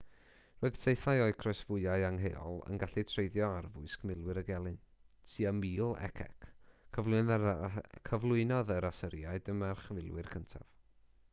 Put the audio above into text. roedd saethau o'u croesfwâu angheuol yn gallu treiddio arfwisg milwyr y gelyn tua 1000 c.c. cyflwynodd yr asyriaid y marchfilwyr cyntaf